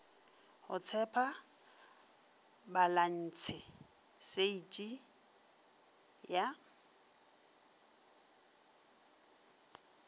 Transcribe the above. go tshepa balantshe shiti ya